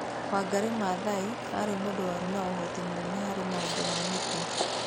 Wangari Maathai aarĩ mũndũ warĩ na ũhoti mũnene harĩ maũndũ ma mĩtĩ .